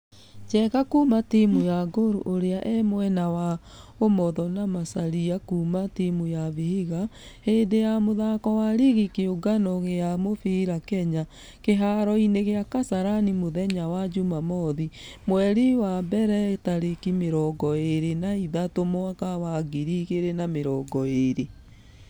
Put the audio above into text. Njenga kuuma timũ ya gor ũrĩa e mwena wa ũmotho na macharia kuuma timũ ya vihiga, hĩndĩ ya mũthako wa rigi ya kĩũngano gĩa mũfira kenya. Kĩharo-inĩ gia kasarani mũthenya wa jumamothi, mweri wa mbere tarĩki mĩrongo ĩrĩ na ithatũ mwaka wa 2020.